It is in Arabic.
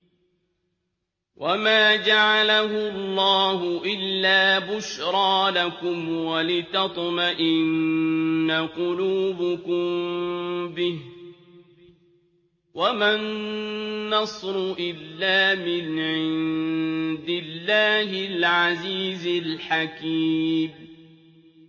وَمَا جَعَلَهُ اللَّهُ إِلَّا بُشْرَىٰ لَكُمْ وَلِتَطْمَئِنَّ قُلُوبُكُم بِهِ ۗ وَمَا النَّصْرُ إِلَّا مِنْ عِندِ اللَّهِ الْعَزِيزِ الْحَكِيمِ